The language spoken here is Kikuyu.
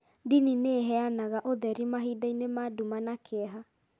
Ndini nĩ ĩheanaga ũtheri mahinda-inĩ ma nduma na kĩeha.